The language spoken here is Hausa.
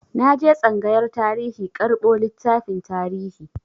Na je tsangayar tarihi karɓo littafin tarihi.